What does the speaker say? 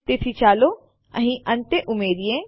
તેથી ચાલો અહીં અંતે ઉમેરીએ